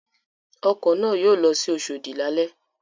Ọkọ̀ náà yóò lọ sí Oṣòdì lálẹ́.